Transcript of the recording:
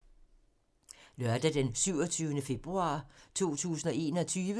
Lørdag d. 27. februar 2021